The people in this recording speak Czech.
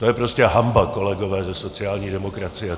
To je prostě hanba, kolegové ze sociální demokracie.